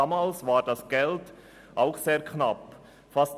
Damals war das Geld ebenfalls sehr knapp bemessen.